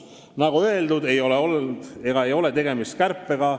" Nagu öeldud, ei ole tegemist kärpega.